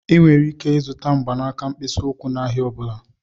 Ị nwere ike ịzụta mgbanaka mkpịsị ụkwụ n'ahịa ọ bụla.